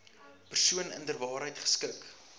persoon inderwaarheid geskik